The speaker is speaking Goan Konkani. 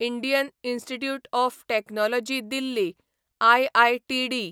Indian Institute of Technology Delhi IITD